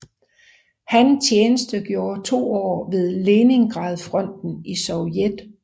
Han tjenestegjorde to år ved Leningradfronten i Sovjet